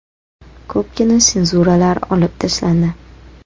Ko‘pgina senzuralar olib tashlandi.